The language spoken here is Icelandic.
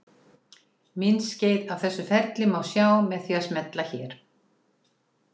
Myndskeið af þessu ferli má sjá með því að smella hér.